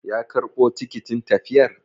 Ya karɓo tikitin tafiyar?